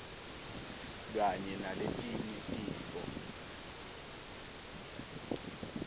kanye naletinye tifo